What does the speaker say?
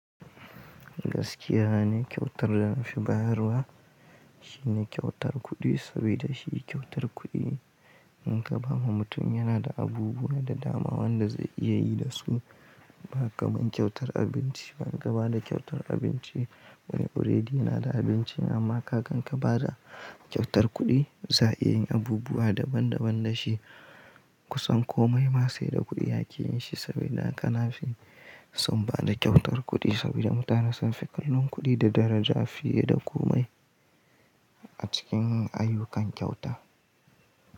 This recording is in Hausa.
Gaskiya ni kyautar da na fi bayarwa shine kyautar kuɗi, saboda shi kyautar kuɗi in ka ba ma mutum yana da abubuwa da dama wanda zai iya yi da su, ba kamar kyautar abinci ba in ka ba da kyautar abinci wani already yana da abincin amma kaga inka ba da kyautar kuɗi za a iya yin abubuwa daban daban da shi. Kusan komai ma saida kuɗi ake yin shi saboda haka na fi son ba da kyautar kuɗi saboda mutane sun fi kallon kuɗi da daraja fiye da kome a cikin ayyukan kyauta.